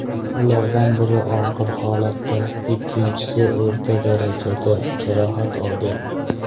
Ulardan biri og‘ir holatda, ikkinchisi o‘rta darajada jarohat olgan.